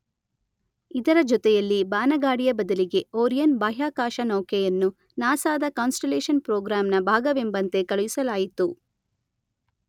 ಇದರ ಜೊತೆಯಲ್ಲಿ ಬಾನಗಾಡಿಯ ಬದಲಿಗೆ ಒರಿಯನ್ ಬಾಹ್ಯಾಕಾಶನೌಕೆಯನ್ನು ನಾಸದ ಕಾನ್ಸ್ಟಲೇಷನ್ ಪ್ರೋಗ್ರಾಂನ ಭಾಗವೆಂಬಂತೆ ಕಳುಹಿಸಲಾಯಿತು.